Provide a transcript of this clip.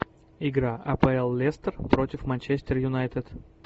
игра апл лестер против манчестер юнайтед